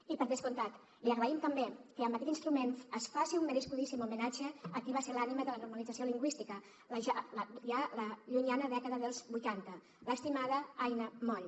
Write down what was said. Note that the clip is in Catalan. i per descomptat li agraïm també que amb aquest instrument es faci un merescudíssim homenatge a qui va ser l’ànima de la normalització lingüística ja a la llunyana dècada dels vuitanta l’estimada aina moll